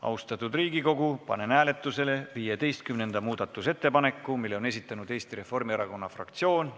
Austatud Riigikogu, panen hääletusele 15. muudatusettepaneku, mille on esitanud Eesti Reformierakonna fraktsioon.